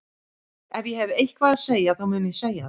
Ef ég hef eitthvað að segja þá mun ég segja það.